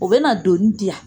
O bɛ na donni di yan